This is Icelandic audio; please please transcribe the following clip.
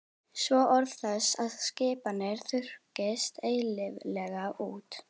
Svo orð þess og skipanir þurrkist eilíflega út.